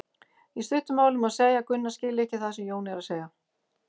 Í stuttu máli má segja að Gunna skilji ekki það sem Jón er að segja.